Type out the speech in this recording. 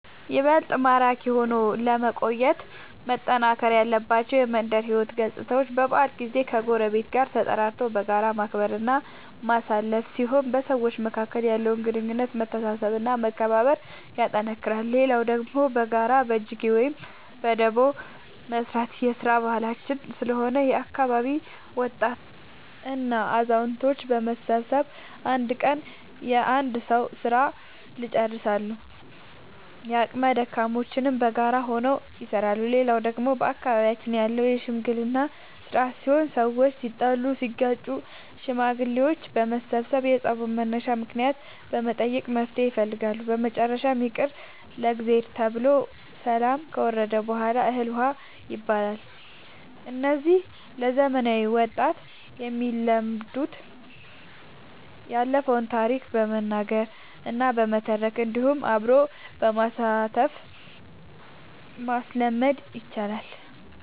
ይበልጥ ማራኪ ሆኖ ለመቆየት መጠናከር ያለባቸው የመንደር ሕይወት ገፅታዎች በበዓል ጊዜ ከጎረቤት ጋር ተጠራርቶ በጋራ ማክበር እና ማሳለፍ ሲሆን በሰዎች መካከል ያለውን ግንኙነት መተሳሰብ እና መከባበር ያጠነክራል። ሌላው ደግሞ በጋራ በጅጌ ወይም በዳቦ መስራት የስራ ባህላችን ስለሆነ የአካባቢ ወጣቶች እና አዛውቶች በመሰብሰብ አንድ ቀን የአንድ ሰዉ ስራ ልጨርሳሉ። የአቅመ ደካሞችንም በጋራ ሆነው ይሰራሉ። ሌላው ደግሞ በአካባቢያችን ያለው የሽምግልና ስርአት ሲሆን ሰዎች ሲጣሉ ሲጋጩ ሽማግሌዎች በመሰብሰብ የፀቡን መነሻ ምክንያት በመጠየቅ መፍትሔ ይፈልጋሉ። በመጨረሻም ይቅር ለእግዚአብሔር ተብሎ ሰላም ከወረደ በሗላ እህል ውሃ ይባላል። እነዚህ ለዘመናዊ ወጣት የሚለመዱት ያለፈውን ታሪክ በመናገር እና በመተረክ እንዲሁም አብሮ በማሳተፍ ማስለመድ ይቻላል።